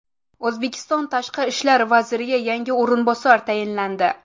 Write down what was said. O‘zbekiston tashqi ishlar vaziriga yangi o‘rinbosar tayinlandi.